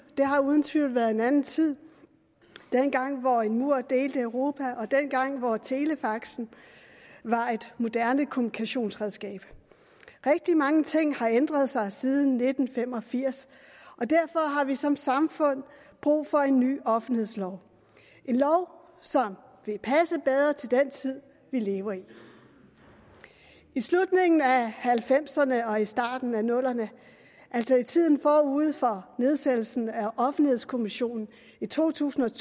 det har uden tvivl været en anden tid dengang hvor en mur delte europa og dengang hvor telefaxen var et moderne kommunikationsredskab rigtig mange ting har ændret sig siden nitten fem og firs og derfor har vi som samfund brug for en ny offentlighedslov en lov som vil passe bedre til den tid vi lever i i slutningen af halvfemserne og i starten af nullerne altså i tiden forud for nedsættelsen af offentlighedskommissionen i to tusind